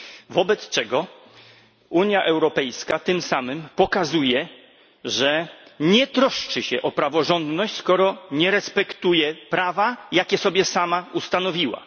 Wobec czego Unia Europejska tym samym pokazuje, że nie troszczy się o praworządność, skoro nie respektuje prawa, jakie sobie sama ustanowiła.